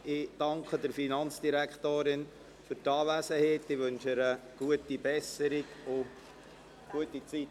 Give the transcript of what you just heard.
Ich danke der Finanzdirektorin für ihre Anwesenheit und wünsche ihr gute Besserung und eine gute Zeit.